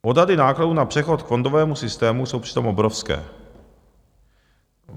Odhady nákladů na přechod k fondovému systému jsou přitom obrovské.